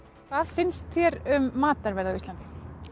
hvað finnst þér um matarverð á Íslandi